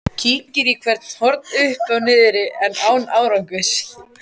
Kíkir í hvert horn uppi og niðri en án árangurs.